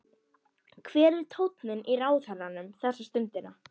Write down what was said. Hver er tónninn í ráðherranum þessa stundina?